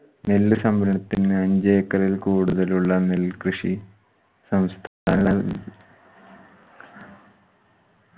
നെല്ല് സംഭരണത്തിന് അഞ്ച് ഏക്കറിൽ കൂടുതലുള്ള നെൽകൃഷി സംസ്